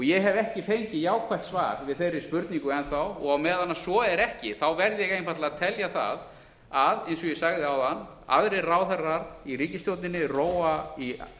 ég hef ekki fengið jákvætt svar við þeirri spurningu enn þá og á meðan svo er ekki verð ég einfaldlega að telja það að eins og ég sagði áðan aðrir ráðherrar í ríkisstjórnarinnar rói í